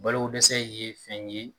Balodɛsɛ ye fɛn ye